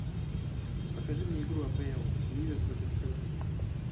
покажи мне игру апл ливер против эвертона